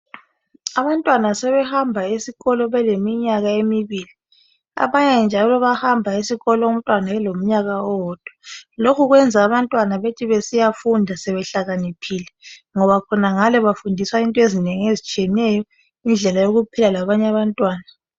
Abantwana sebehamba esikolo beleminyaka emibili. Abanye njalo bayahamba esikolo umntwana elomnyaka owodwa, lokhu kwenza abantwana bethi besiyafunda sebehlakaniphile ngoba khonangale bafundiswa into ezinengi esizitshiyeneyo, indlela yokuphila labanye abantwana.